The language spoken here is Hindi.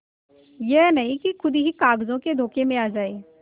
यह नहीं कि खुद ही कागजों के धोखे में आ जाए